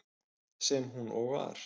Sem hún og var.